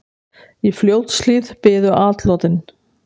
Í Fljótshlíð biðu atlotin.